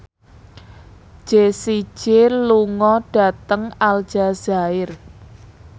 Jessie J lunga dhateng Aljazair